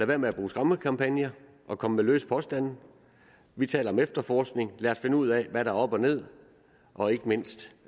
være med at bruge skræmmekampagner og komme med løse påstande vi taler om efterforskning lad os finde ud af hvad der er op og ned og ikke mindst